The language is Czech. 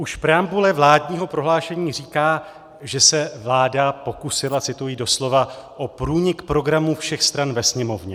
Už preambule vládního prohlášení říká, že se vláda pokusila, cituji doslova, o průnik programu všech stran ve Sněmovně.